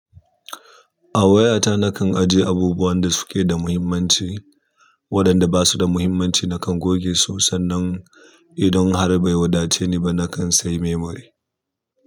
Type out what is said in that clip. A wayata nakan ajiye abubuwan da suke da muhimmanci waɗanda ba su da muhimmanci nakan goge su sannan idan har bai wadace ni ba nakan sai memory.